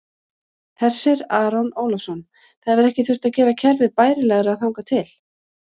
Hersir Aron Ólafsson: Það hefur ekki þurft að gera kerfið bærilegra þangað til?